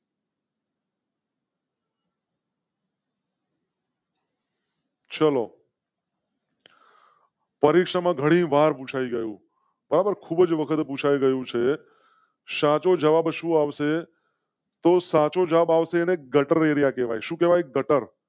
શોલો . પરીક્ષા માં ઘણીવાર પૂછાઈ ગયું. બરાબર ખૂબ જ વખતે પૂછાઈ ગયું છે. જવાબ શું આવશે? તો સાચો જવાબ આવશે. ગટર એરિયા. ગટર.